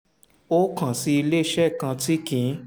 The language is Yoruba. ó kàn sí iléeṣẹ́ kan tí kì í